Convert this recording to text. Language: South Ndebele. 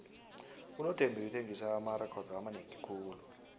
unothembi uthengise amarekhodo amanengi khulu